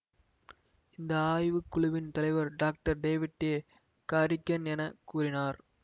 இந்த ஆய்வுக்குழுவின் தலைவர் டாக்டர் டேவிட் ஏ காரிக்கென் என கூறினார்